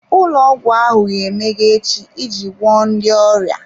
Ụlọ ọgwụ ahụ ga-emeghe echi iji gwọọ ndị ọrịa.